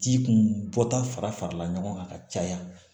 Ji kun bɔta fara farala ɲɔgɔn kan ka caya